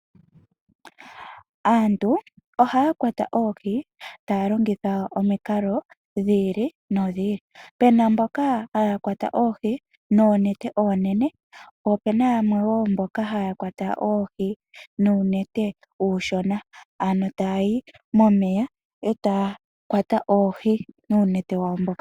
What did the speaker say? Aantu oha ya kwata oohi taya longitha omikalo dhi ili nodhi ili, puna mboka haya kwata oohi nOonete oonene po opena yamwe wo mboka ha ya kwata oohi nOonete uushona, ano taya yi mOmeya e taya kwata oohi nuunete wa wo mboka.